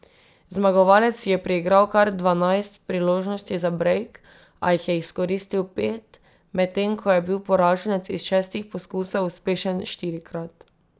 Zmagovalec si je priigral kar dvanajst priložnosti za brejk, a jih je izkoristil pet, medtem ko je bil poraženec iz šestih poskusov uspešen štirikrat.